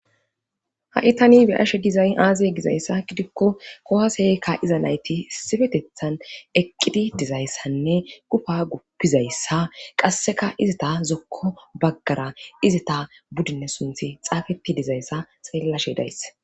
ha7i tani be ashe gizay aazee gizayssa gidikko kowa seykka iza nayti sifetethan eqqidi dizayssanne gufa guppizayssa qasseka izata zokko baggara izata buddinne sunthi xaafeti dizayssa seellashe dayis